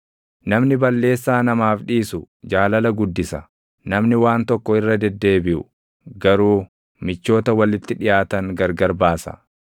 Namni balleessaa namaaf dhiisu jaalala guddisa; namni waan tokko irra deddeebiʼu, // garuu michoota walitti dhiʼaatan gargar baasa.